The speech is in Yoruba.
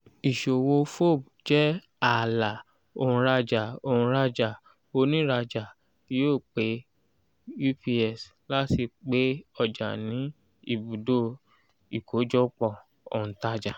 ìṣòwò fob jẹ́ ààlà òǹrajà òǹrajà oniraja yóó pé ups láti gbé ọjà ní ibùdó ìkójọpọ̀ òǹtajà.